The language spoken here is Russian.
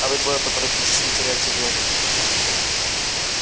а вы двое поторопитесь не теряйте время